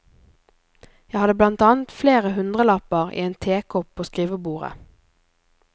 Jeg hadde blant annet flere hundrelapper i en tekopp på skrivebordet.